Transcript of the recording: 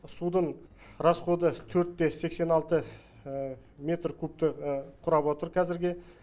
судың расходы төрт те сексен алты метр кубті құрап отыр қазірге